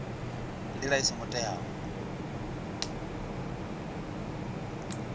nga ndila i songo teaho